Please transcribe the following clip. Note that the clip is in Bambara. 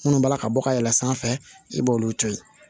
Minnu b'a ka bɔ ka yɛlɛ sanfɛ i b'olu to yen